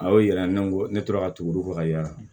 A y'o yira ne ko ne tora ka tugu fɔ ka yaala